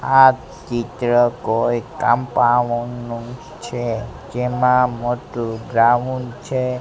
આ ચિત્ર કોઈ કમ્પાઉન્ડ નુ છે જેમા મોટ્ટું ગ્રાઉન્ડ છે.